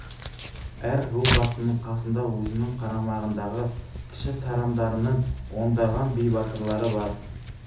әр ру басының қасында өзінің қарамағындағы кіші тарамдарының ондаған би батырлары бар